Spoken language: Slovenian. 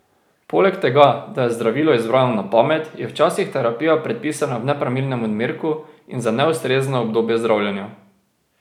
Poleg tega, da je zdravilo izbrano na pamet, je včasih terapija predpisana v nepravilnem odmerku in za neustrezno obdobje zdravljenja.